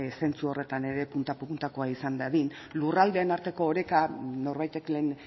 zentzu horretan ere punta puntakoa izan dadin lurraldeen arteko oreka norbaitek lehen